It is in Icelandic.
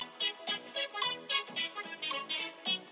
Þórhildur Þorkelsdóttir: Er Davíð klassík?